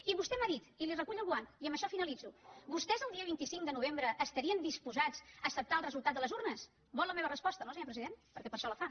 i vostè m’ha dit i li recullo el guant i amb això finalitzo vostès el dia vint cinc de novembre estarien disposats a acceptar el resultat de les urnes vol la meva resposta no senyor president perquè per a això la fa